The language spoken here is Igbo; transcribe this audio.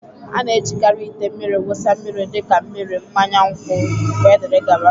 A na-ejikarị ite mmiri wụsa mmiri dị ka mmiri, mmanya nkwụ, wdg